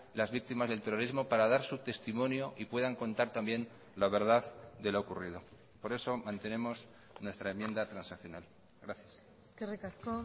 las víctimas del terrorismo para dar su testimonio y puedan contar también la verdad de lo ocurrido por eso mantenemos nuestra enmienda transaccional gracias eskerrik asko